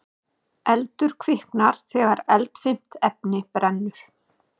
Eldur kviknar þegar eldfimt efni brennur.